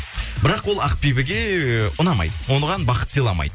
бірақ ол ақбибіге ыыы ұнамайды оған бақыт сыйламайды